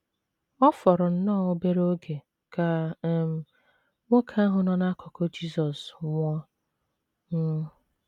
Ọ FỌRỌ nnọọ obere oge ka um nwoke ahụ nọ n’akụkụ Jizọs nwụọ. um